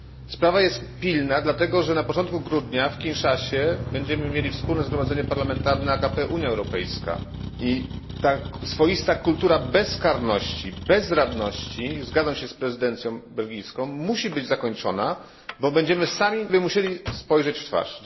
Sprawa jest pilna, gdyż na początku grudnia w Kinszasie będziemy mieli Wspólne Zgromadzenie Parlamentarne AKP Unia Europejska i ta swoista kultura bezkarności, bezradności zgadzam się z prezydencją belgijską musi być zakończona, bo będziemy musieli sobie sami spojrzeć w twarz.